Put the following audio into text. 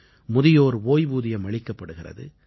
முதியோர் ஓய்வூதியம் அளிக்கப்படுகிறது